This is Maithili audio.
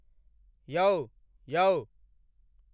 यौ यौ